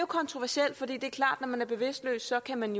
kontroversielt for det er klart at når man er bevidstløs kan man